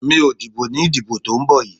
Mi ò dìbò ní ìdìbò tó ń bọ̀ yìí.